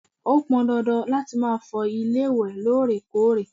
ó pọn dandan láti ma fọ ilé ìwé lóòrèkóòrè